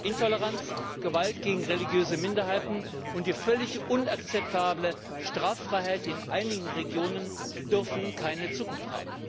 Intoleranz, Gewalt gegen religiöse Minderheiten und die völlig unakzeptable Straffreiheit in einigen Regionen dürfen keine Zukunft haben!